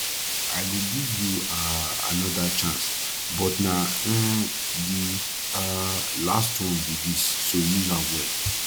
i go give you um another chance but na um the um last one be dis so use am well